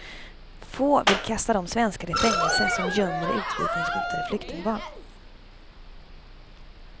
Få vill kasta de svenskar i fängelse som gömmer utvisningshotade flyktingbarn.